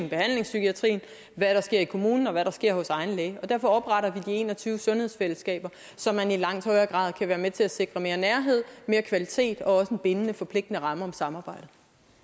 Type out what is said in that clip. i behandlingspsykiatrien hvad der sker i kommunen og hvad der sker hos egen læge derfor opretter vi de en og tyve sundhedsfællesskaber så man i langt højere grad kan være med til at sikre mere nærhed mere kvalitet og også en bindende forpligtende ramme om samarbejdet